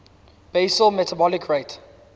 basal metabolic rate